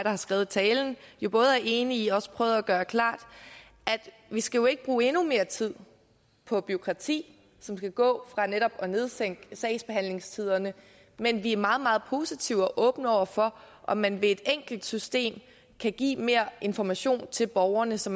har skrevet talen både er enig i og også prøvede at gøre klart vi skal jo ikke bruge endnu mere tid på bureaukrati som vil gå fra netop at sænke sagsbehandlingstiderne men vi er meget meget positive og åbne over for om man ved et enkelt system kan give mere information til borgerne så